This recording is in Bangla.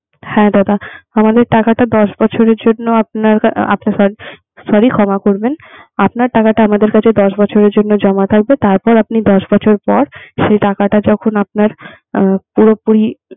হ্যাঁ দাদা আমাদের টাকাটা দশ বছরের জন্য আপনার sorry দাদা, ক্ষমা করবেন আপনার টাকাটা আমাদের কাছে দশ বছরের জন্য তার পর আপনি দশ বছর পর সে টাকাটা যখন আপনার পুরাপুরি